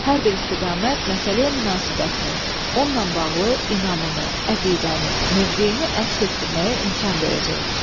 Hər bir istiqamət məsələyə münasibətini, onunla bağlı inamını, əqidəni, mövqeyini əks etdirməyə imkan verəcək.